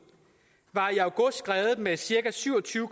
var i august skredet med cirka syv og tyve